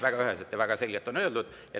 Väga üheselt ja väga selgelt on see öeldud.